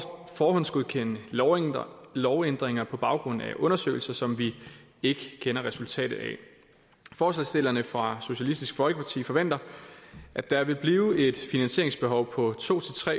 forhåndsgodkende lovændringer lovændringer på baggrund af undersøgelser som vi ikke kender resultatet af forslagsstillerne fra socialistisk folkeparti forventer at der vil blive et finansieringsbehov på to